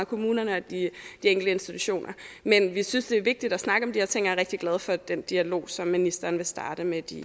kommunerne og de enkelte institutioner men vi synes det er vigtigt at snakke om de her ting er rigtig glad for den dialog som ministeren vil starte med de